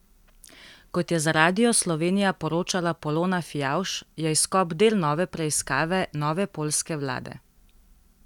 Kot je za Radio Slovenija poročala Polona Fijavž, je izkop del nove preiskave nove poljske vlade.